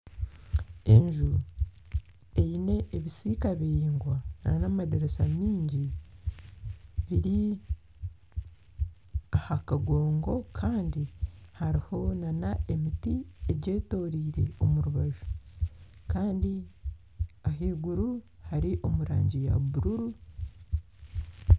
Enju eine ebisiika biraingwa n'amadiirisa mingi eri aha kagongo kandi hariho n'emiti egyetoreire omu rubaju kandi ahaiguru hari omu rangi ya buruuru.